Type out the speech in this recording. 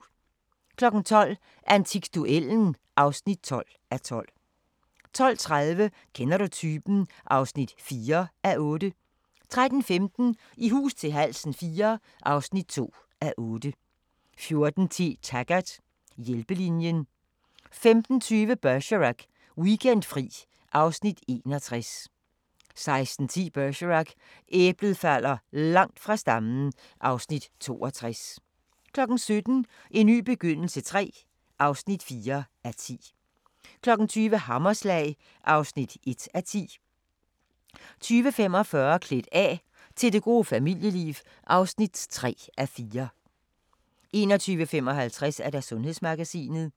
12:00: Antikduellen (12:12) 12:30: Kender du typen? (4:8) 13:15: I hus til halsen IV (2:8) 14:10: Taggart: Hjælpelinjen 15:20: Bergerac: Weekendfri (Afs. 61) 16:10: Bergerac: Æblet falder langt fra stammen (Afs. 62) 17:00: En ny begyndelse III (4:10) 20:00: Hammerslag (1:10) 20:45: Klædt af – til det gode familieliv (3:4) 21:55: Sundhedsmagasinet